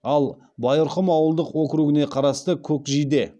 ал байырқұм ауылдық округіне қарасты көкжиде